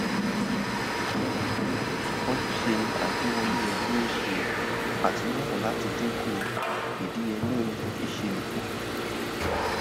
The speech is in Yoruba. ojúse agbewọle yẹ kí o ṣe àtúnyẹwò láti dínkù idiyelé iṣelọpọ.